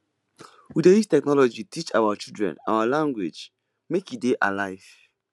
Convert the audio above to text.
we dey use technology teach our children our language make e dey alive